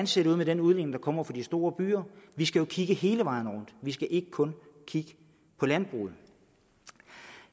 ser ud med den udledning der kommer fra de store byer vi skal jo kigge hele vejen rundt vi skal ikke kun kigge på landbruget